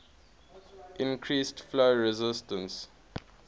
increase flow resistance